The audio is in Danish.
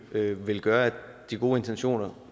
vil gøre at de gode intentioner